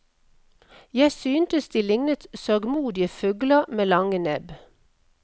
Jeg syntes de lignet sørgmodige fugler med lange nebb.